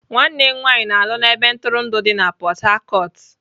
Nwanne m nwanyị na-alụ na ebe ntụrụndụ dị na Port Harcourt.